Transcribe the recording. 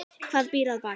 Hvað býr að baki?